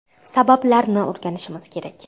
Sabablarini o‘rganishimiz kerak.